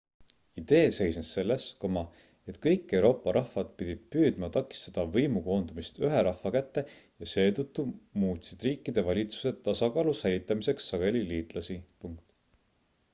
idee seisnes selles et kõik euroopa rahvad pidid püüdma takistada võimu koondumist ühe rahva kätte ja seetõttu muutsid riikide valitsused tasakaalu säilitamiseks sageli liitlasi